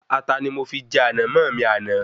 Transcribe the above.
Ata ni mo fi jẹ Ànàmó mi ní àná